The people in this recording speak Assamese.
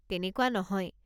তেনেকুৱা নহয়।